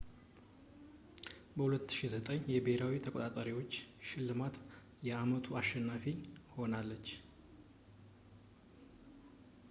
በ2009 የብሄራዊ ተቆጣጣሪዎች ሽልማት የአመቱ አሸናፊ ሆናለች